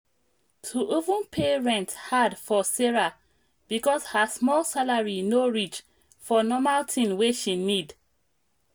to even pay rent hard for sarah because her small salary no reach for normal thing wey she need